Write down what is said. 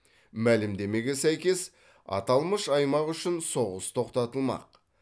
мәлімдемеге сәйкес аталмыш аймақ үшін соғыс тоқтатылмақ